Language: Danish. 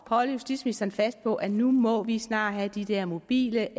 holde justitsministeren fast på at nu må vi snart have de der mobile